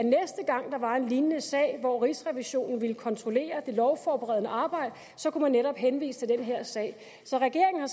gang der var en lignende sag hvor rigsrevisionen ville kontrollere det lovforberedende arbejde kunne man netop henvise til den her sag så regeringen har